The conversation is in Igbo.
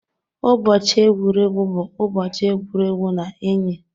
Ụbọchị egwuregwu bụ ụbọchị egwuregwu na enyi.